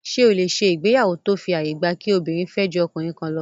Ṣé o lè ṣe ìgbéyàwó tó fi àyè gba kí obìnrin fẹ́ ju ọkùnrin kan lọ?